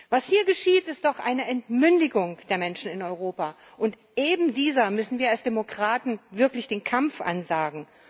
Was hier geschieht, ist doch eine Entmündigung der Menschen in Europa, und eben dieser müssen wir als Demokraten wirklich den Kampf ansagen.